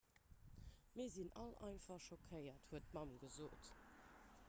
mir sinn all einfach schockéiert huet d'mamm gesot